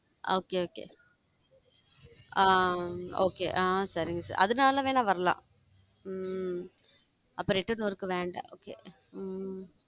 Okay okay ah okay ah um சரிங்க sir அதனால வேணா வரலாம் உம் அப்ப return work வேண்டாம் okay உம்